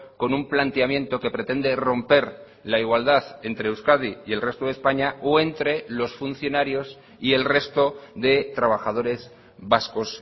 con un planteamiento que pretende romper la igualdad entre euskadi y el resto de españa o entre los funcionarios y el resto de trabajadores vascos